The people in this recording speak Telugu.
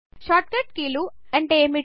షార్ట్ కట్ కీలు అంటే అమిటీ